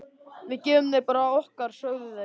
Við gefum þér bara af okkar, sögðu þeir.